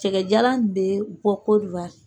Cɛkɛjalan in bɛ bɔ Kɔriwari.